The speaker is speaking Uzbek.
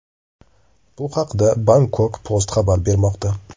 Bu haqda Bangkok Post xabar bermoqda .